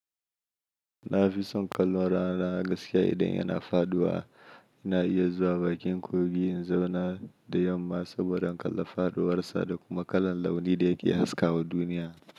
Na fi son kallon rana a gaskiya idan yana faɗuwa. Ina iya zuwa bakin kogi in zauna da yamma saboda in kalla faɗuwarsa da kuma kalar launi da yake haskawa duniya.